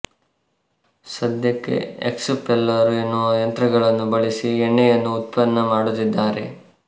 ಸದ್ಯಕ್ಕೆ ಎಕ್ಸುಪೆಲ್ಲರು ಎನ್ನುವ ಯಂತ್ರಗಳನ್ನು ಬಳಸಿ ಎಣ್ಣೆಯನ್ನು ಉತ್ಪನ್ನ ಮಾಡುತ್ತಿದ್ದಾರೆ